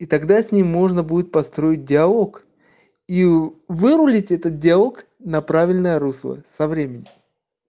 тогда с ним можно будет построить диалог и вырулить этот иалог на правильное русло со временем